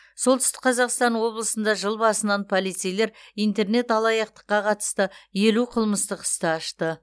солтүстік қазақстан облысында жыл басынан полицейлер интернет алаяқтыққа қатысты елу қылмыстық істі ашты